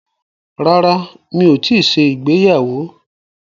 Rárá, mi ò tíì ṣe ìgbéyàwó.